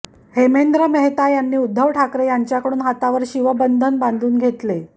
हेमेंद्र मेहता यांनी उद्धव ठाकरे यांच्याकडून हातावर शिवबंधन बांधून घेतले